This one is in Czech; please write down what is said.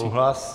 Souhlas.